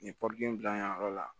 Nin bila yen yɔrɔ la